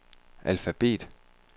alfabet